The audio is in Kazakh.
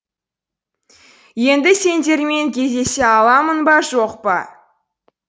енді сендермен кездесе аламын ба жоқ па